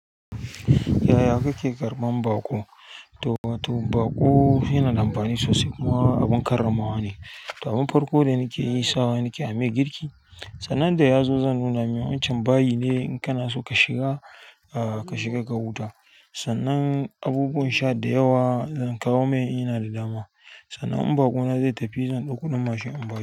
Yaya kake karɓan baƙo? To, to baƙo yana da amfani sosai. Kuma abin karramawa ne. To abunn farko da nake yi, sawa nake amai girki. Sannan da yazo zan nuna mai wancan bayi ne in kana so ka shiga, ka shiga ka huta. Sannan abubuwan sha da yawa zan kawo mai in ina da dama. Sannan in baƙona zai tafi zan ɗau kuɗin mashin in bar shi.